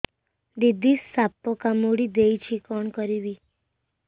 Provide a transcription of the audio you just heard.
ଦିଦି ସାପ କାମୁଡି ଦେଇଛି କଣ କରିବି